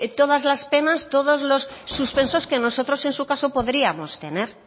todas las penas todos los suspensos que nosotros en su caso podríamos tener